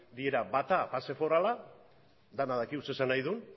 dira bata base forala denak dakigu zer esan nahi duen